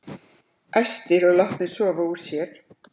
Æstir og látnir sofa úr sér